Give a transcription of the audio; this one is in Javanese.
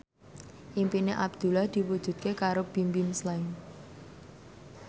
impine Abdullah diwujudke karo Bimbim Slank